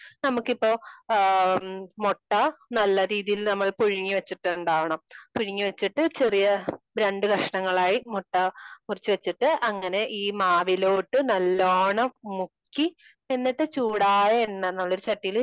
നമുക്കിപ്പോ ആ മൊട്ട നല്ല രീതിയില് നമ്മള് പുഴുങ്ങി വച്ചിട്ടുണ്ടാകണംപുഴുങ്ങി വച്ചിട്ട് ചെറിയ രണ്ട് കഷണങ്ങളായി മുട്ട മുറിച്ച് വച്ചിട്ട് അങ്ങനെ ഈ മാവിലോട്ട് നല്ലോണം മുക്കി എന്നിട്ട് ചൂടായ എണ്ണ ഉള്ള ചട്ടിയില്